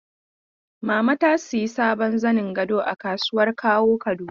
Mama ta sayi sabon zanin gado a kasuwar Kawo Kaduna.